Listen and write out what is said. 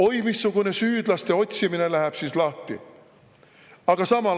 Oi missugune süüdlaste otsimine läheb siis lahti!